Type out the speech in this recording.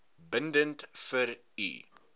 bindend vir u